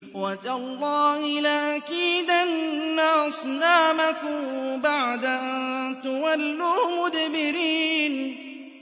وَتَاللَّهِ لَأَكِيدَنَّ أَصْنَامَكُم بَعْدَ أَن تُوَلُّوا مُدْبِرِينَ